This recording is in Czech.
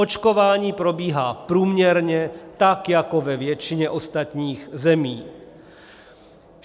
Očkování probíhá průměrně tak jako ve většině ostatních zemí.